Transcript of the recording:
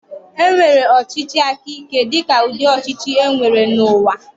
E nwere ọchịchị aka ike dịka ụdị ọchịchị e nwere n'ụwa.